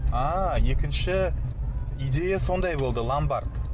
ааа екінші идея сондай болды ломбард